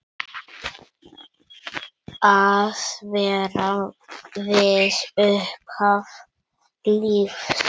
Að vera við upphaf lífs.